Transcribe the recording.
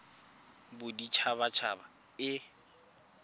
ya bodit habat haba e